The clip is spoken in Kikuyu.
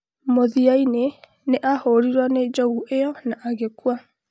Mũthia-inĩ nĩ aahũrirũo nĩ njogu ĩyo na agĩkua